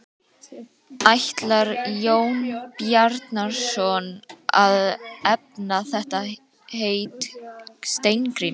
Ætlar Jón Bjarnason að efna það heit Steingríms?